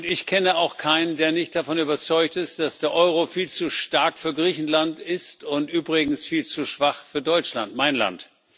Ich kenne auch keinen, der nicht davon überzeugt ist, dass der Euro viel zu stark für Griechenland ist und übrigens viel zu schwach für Deutschland mein Land.